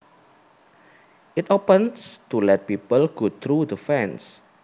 It opens to let people go through the fence